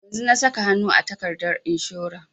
Yanzun na saka hanu a takardar inshora